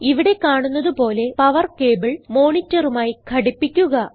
ഇവിടെ കാണുന്നത് പോലെ പവർ കേബിൾ monitorമായി ഘടിപ്പിക്കുക